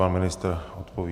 Pan ministr odpoví.